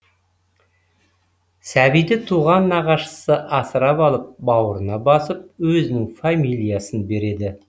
сәбиді туған нағашысы асырап алып бауырына басып өзінің фамилиясын береді